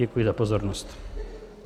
Děkuji za pozornost.